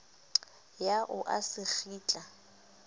ya o a se kgitla